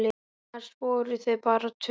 Annars voru þau bara tvö.